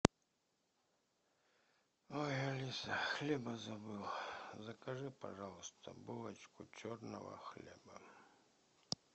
ой алиса хлеба забыл закажи пожалуйста булочку черного хлеба